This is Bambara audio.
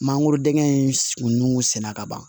Mangorodingɛn in kungu sɛnɛ ka ban